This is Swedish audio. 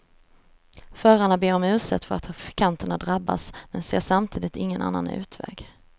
Förarna ber om ursäkt för att trafikanterna drabbas, men ser samtidigt ingen annan utväg.